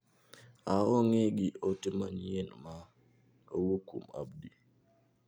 Aong'e gi ote manyien ma owuok kuom Abdi.